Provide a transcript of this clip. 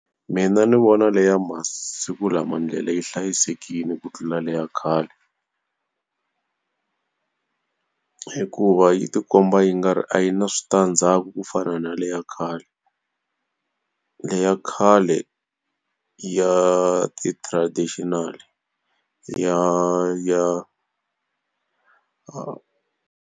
Mina ndzi vona leyi ya masiku lama ndlela yi hlayisekile ku tlula le ya khale hikuva yi ti komba yi nga ri a yi na switandzhaku ku fana na na leyi ya khale. leyi ya khale ya ti-traditional-i ya ya.